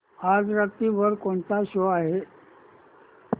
आज रात्री वर कोणता शो आहे